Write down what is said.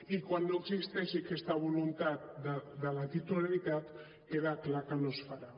i quan no existeixi aquesta voluntat de la titularitat queda clar que no es farà